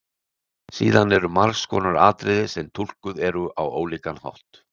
Síðan eru margs konar atriði sem túlkuð eru á ólíkan hátt.